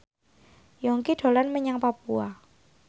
Yongki dolan menyang Papua